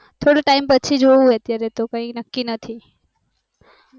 થોસુ time પછી જોઉં અત્યારે તો કાય નકી નથી